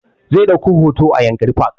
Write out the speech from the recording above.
Zai ɗauka hoto a yankari park